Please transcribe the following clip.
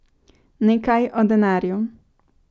Nekaj o denarju.